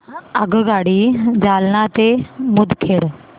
आगगाडी जालना ते मुदखेड